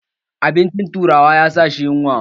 Abincin turawa ya sa shi yunwa